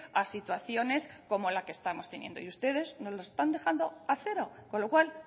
a situaciones como la que estamos teniendo y ustedes nos lo están dejando a cero con lo cual